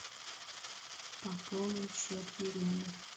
пополнить счет елены